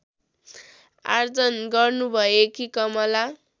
आर्जन गर्नुभएकी कमला